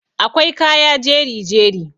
akwai kaya jeri-jeri